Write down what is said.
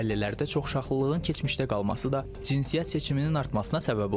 Ailələrdə çoxuşaqlılığın keçmişdə qalması da cinsiyyət seçiminin artmasına səbəb olub.